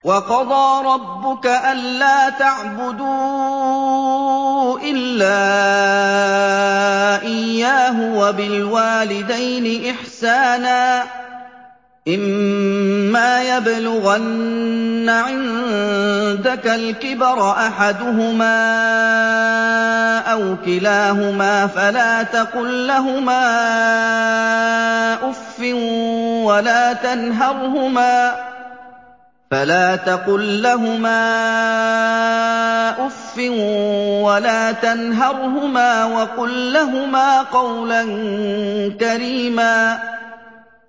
۞ وَقَضَىٰ رَبُّكَ أَلَّا تَعْبُدُوا إِلَّا إِيَّاهُ وَبِالْوَالِدَيْنِ إِحْسَانًا ۚ إِمَّا يَبْلُغَنَّ عِندَكَ الْكِبَرَ أَحَدُهُمَا أَوْ كِلَاهُمَا فَلَا تَقُل لَّهُمَا أُفٍّ وَلَا تَنْهَرْهُمَا وَقُل لَّهُمَا قَوْلًا كَرِيمًا